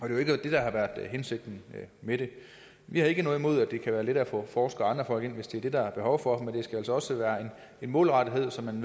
er jo ikke det der har været hensigten med det vi har ikke noget imod at det er let at få forskere og ind hvis det er det der er behov for men det skal altså også være målrettet så man